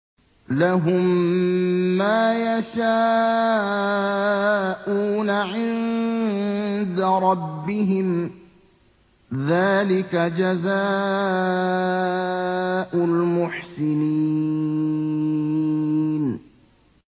لَهُم مَّا يَشَاءُونَ عِندَ رَبِّهِمْ ۚ ذَٰلِكَ جَزَاءُ الْمُحْسِنِينَ